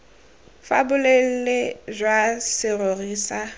fa boleele jwa serori sa